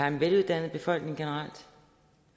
en veluddannet befolkning vi